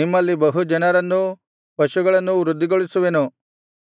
ನಿಮ್ಮಲ್ಲಿ ಬಹು ಜನರನ್ನೂ ಪಶುಗಳನ್ನೂ ವೃದ್ಧಿಗೊಳಿಸುವೆನು